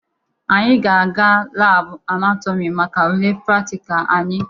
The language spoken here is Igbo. Anyị ga-aga labụ anatọmị maka ule praktikal anyị